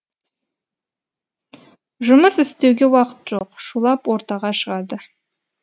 жұмыс істеуге уақыт жоқ шулап ортаға шығады